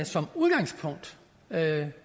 som udgangspunkt